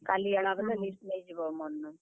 କାଲି ଆଏଲା ବେଲେ list ନେଇଯିବ ମୋର୍ ନୁ।